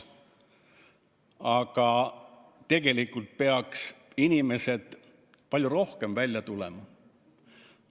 Aga tegelikult peaks inimesed palju rohkem välja tulema.